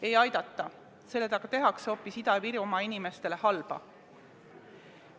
Ei aidata, sellega tehakse Ida-Virumaa inimestele hoopis halba.